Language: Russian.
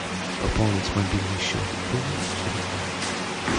пополнить мобильный счет друга через банк